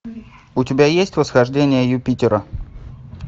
у тебя есть восхождение юпитера